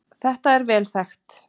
Þetta er vel þekkt